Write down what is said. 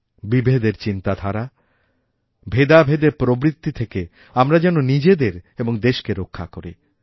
বিভেদের চিন্তাধারা ভেদাভেদের প্রবৃত্তিথেকে আমরা যেন নিজেদের এবং দেশকে রক্ষা করি